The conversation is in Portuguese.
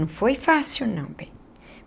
Não foi fácil, não, bem.